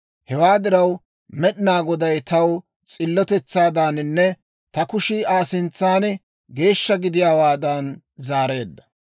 Hewaa diraw, Med'inaa Goday taw ta s'illotetsaadaaninne ta kushii Aa sintsan geeshsha gidiyaawaadan zaareedda.